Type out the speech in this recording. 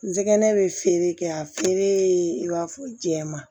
N jɛgɛ bɛ feere kɛ a feere i b'a fɔ jɛman